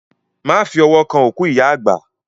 Má fi ọwọ́ kàn òkú ìyá àgbà.